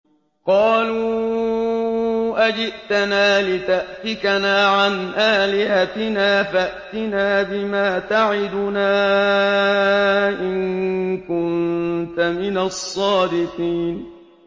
قَالُوا أَجِئْتَنَا لِتَأْفِكَنَا عَنْ آلِهَتِنَا فَأْتِنَا بِمَا تَعِدُنَا إِن كُنتَ مِنَ الصَّادِقِينَ